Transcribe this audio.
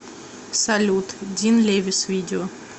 салют дин левис видео